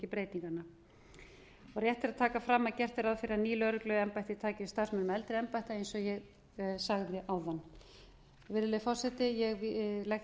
breytinganna rétt er að taka fram að gert er ráð fyrir að ný lögregluembætti taki við starfsmönnum eldri embætta eins og ég sagði áðan virðulegi forseti ég legg